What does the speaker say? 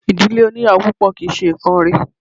Ìdílé oníyàwò púpọ̀ kì í ṣe nǹkán rẹ̀.